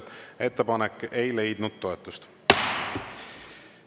Ettepanek ei leidnud toetust.